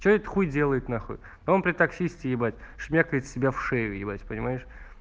что этот хуй делает нахуй он при таксисте стебать шмякает себя в шею ебать понимаешь